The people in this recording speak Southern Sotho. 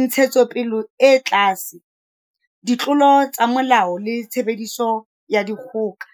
ntshetsopele e tlase, ditlolo tsa molao le tshebediso ya dikgoka.